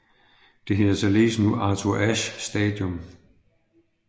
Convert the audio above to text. Det hedder således nu Arthur Ashe Stadium